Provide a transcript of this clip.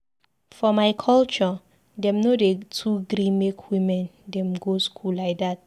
For my culture, dem no dey too gree make women dem go school lai dat.